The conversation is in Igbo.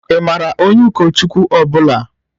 Ị maara onye ụkọchukwu ọ bụla?